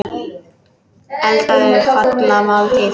Eldaðu holla máltíð.